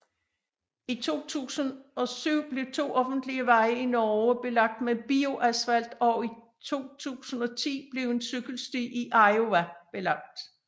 I 2007 blev to offentlige veje i Norge belagt med bioasfalt og i 2010 blev en cykelsti i Iowa belagt